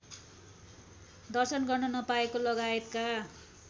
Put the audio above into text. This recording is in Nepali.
दर्शन गर्न नपाएको लगायतका